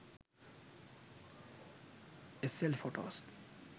sl photos